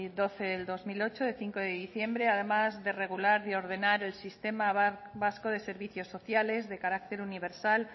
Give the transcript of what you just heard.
doce barra dos mil ocho de cinco de diciembre además de regular y ordenar el sistema vasco de servicios sociales de carácter universal